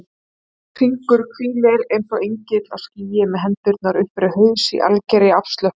Hringur hvílir eins og engill á skýi með hendurnar upp fyrir haus í algerri afslöppun.